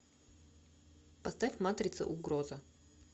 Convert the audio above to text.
поставь матрица угроза